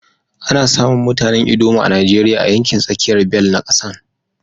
Ana samun mutanen ldoma a Najeriya a yankin tsakiyar bel na kasan.